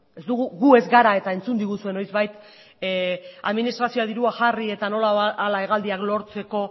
gu ez gara eta entzun diguzu noizbait administrazioa dirua jarri eta nola hala hegaldiak lortzeko